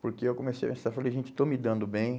Porque eu comecei a pensar, falei, gente, estou me dando bem.